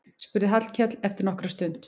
spurði Hallkell eftir nokkra stund.